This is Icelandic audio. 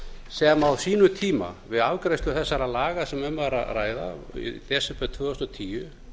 sem á sínum tíma við afgreiðslu þessara laga sem um var að ræða í desember tvö þúsund og tíu